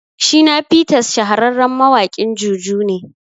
Shina Peters shahararren mawaƙin juju ne